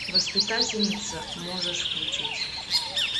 воспитательница можешь включить